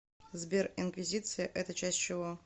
сбер инквизиция это часть чего